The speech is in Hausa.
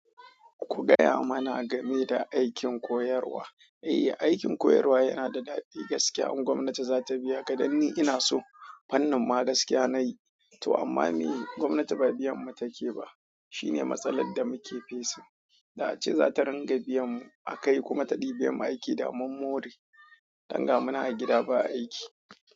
Ku gaya mana game da aikin koyarwa. Eh, aikin koyarwa yana da daɗi gaskiya. In gwamnati za ta biya ka dan ni ina so fannin ma gaskiya nayi to amma meye, gwamnati ba biyanmu take ba. Shine matsalar da muke facing. Da ace za ta ringa biyan mu a kai kuma ta ɗibe mu aiki da mun more. Dan ga munan a gida ba aiki.